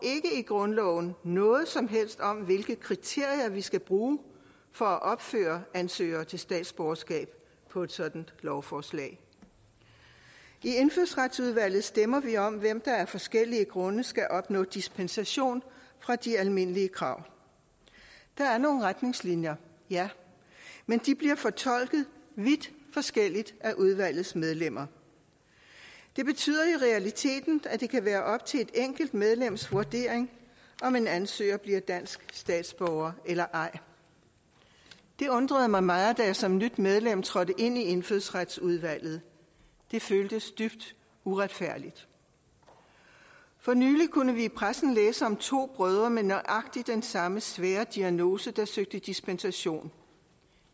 i grundloven noget som helst om hvilke kriterier vi skal bruge for at opføre navnene ansøgere til statsborgerskab på et sådant lovforslag i indfødsretsudvalget stemmer vi om hvem der af forskellige grunde skal opnå dispensation fra de almindelige krav der er nogle retningslinjer ja men de bliver fortolket vidt forskelligt af udvalgets medlemmer det betyder i realiteten at det kan være op til et enkelt medlems vurdering om en ansøger bliver dansk statsborger eller ej det undrede mig meget da jeg som nyt medlem trådte ind i indfødsretsudvalget det føltes dybt uretfærdigt for nylig kunne vi i pressen læse om to brødre med nøjagtig den samme svære diagnose der søgte dispensation